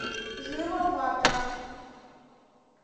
жива ватра